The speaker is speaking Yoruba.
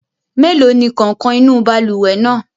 Mélòó ni kàǹkọ̀ inú balùwẹ̀ náà?